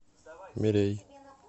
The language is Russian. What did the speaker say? мирей